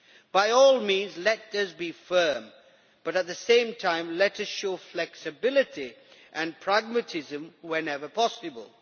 By all means let us be firm, but at the same time let us show flexibility and pragmatism whenever possible.